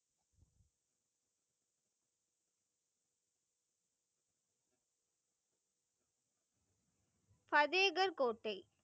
பதேகர் கோட்டை.